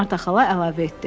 Marta xala əlavə etdi.